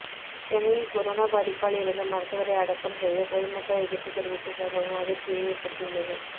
சென்னையில் கொரோனா பாதிப்பால் இறந்த மருத்துவரை அடக்கம் செய்ய பொதுமக்கள் எதிர்ப்பு தெரிவித்த சம்பவம் அதிர்ச்சியை ஏற்படுத்தியுள்ளது